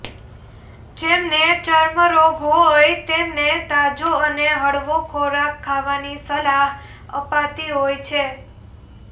જેમને ચર્મ રોગ હોય તેમને તાજો અને હળવો ખોરાક ખાવાની સલાહ અપાતી હોય છે